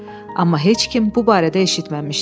Amma heç kim bu barədə eşitməmişdi.